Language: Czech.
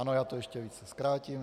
Ano, já to ještě více zkrátím.